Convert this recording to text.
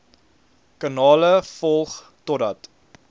kanale volg totdat